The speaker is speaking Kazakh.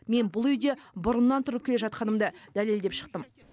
мен бұл үйде бұрыннан тұрып келе жатқанымды дәлелдеп шықтым